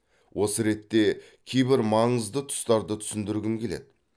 осы ретте кейбір маңызды тұстарды түсіндіргім келеді